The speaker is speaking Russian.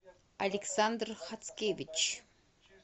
александр хацкевич